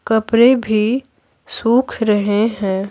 कपड़े भी सूख रहे हैं।